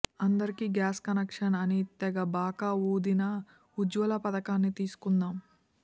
అందరికీ gas connection అని తెగ బాకా ఊదిన ఉజ్వల పధకాన్ని తీసుకుందాం